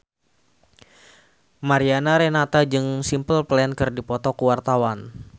Mariana Renata jeung Simple Plan keur dipoto ku wartawan